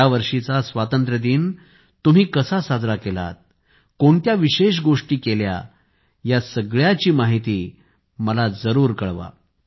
यावर्षीचा स्वातंत्र्यदिन तुम्ही कसा साजरा केलात कोणत्या विशेष गोष्टी केल्या या सर्वांची माहिती मला जरूर कळवा